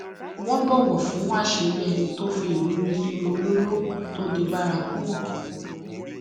wọn bọwò fún àṣírí ẹni tó fi ìrírí lílo olóró tó di bárakú hàn